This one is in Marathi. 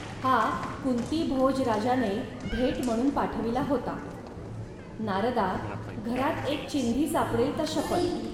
हा कुंतीभोज राजाने भेट म्हणून पाठविला होता. नारदा, घरात एक चिंधी सापडेल तर शपथ